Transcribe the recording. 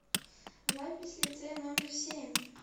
запись лицей номер семь